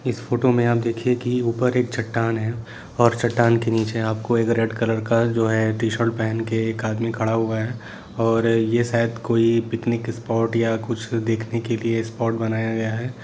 इस फोटो में आप देखिए ऊपर एक चट्टान है और चट्टान के नीचे आपको एक रेड कलर का जो है टी-शर्ट पेहेन के एक आदमी खड़ा हुआ है और ये शायद कोई पिकनिक स्पोर्ट या कुछ देखने के लिए स्पोर्ट बनाया गया है।